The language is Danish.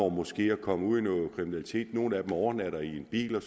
måske er kommet ud i noget kriminalitet nogle af dem overnatter i biler og